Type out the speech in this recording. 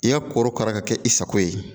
I ya korokara ka kɛ i sago ye